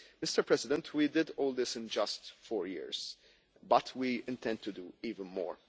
Mr President, we did all this in just four years, but we intend to do even more.